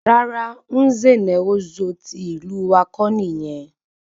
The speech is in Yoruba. Rara, Nze na Ozo tí ìlú wá kọ́ nìyẹn